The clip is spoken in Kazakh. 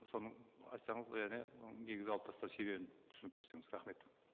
соны айтсаңыз және ол негізді алып тастау себебін түсіндіріп берсеңіз рахмет